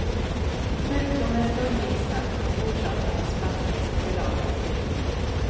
Sjukdomen slår till snabbt och orsakar en spastisk förlamning.